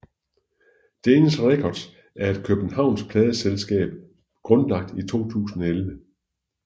Danish Records er et københavnsk pladeselskab grundlagt i 2011